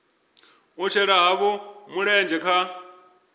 u shela havho mulenzhe kha